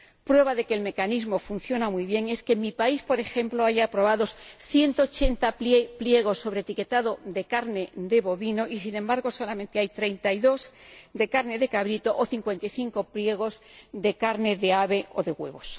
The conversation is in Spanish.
Prueba de que el mecanismo funciona muy bien es que en mi país, por ejemplo, hay aprobados 180 pliegos sobre etiquetado de carne de bovino y, sin embargo, solamente hay 32 de carne de cabrito o 55 de carne de ave o de huevos.